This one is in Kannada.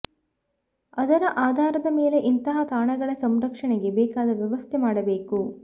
ಅದರ ಆಧಾರದ ಮೇಲೆ ಇಂತಹ ತಾಣಗಳ ಸಂರಕ್ಷಣೆಗೆ ಬೇಕಾದ ವ್ಯವಸ್ಥೆ ಮಾಡಬೇಕು